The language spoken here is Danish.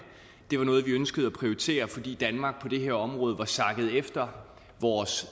det var noget vi ønskede at prioritere fordi danmark på det her område var sakket efter vores